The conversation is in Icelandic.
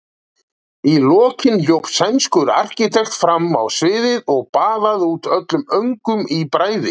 Í lokin hljóp sænskur arkitekt fram á sviðið og baðaði út öllum öngum í bræði.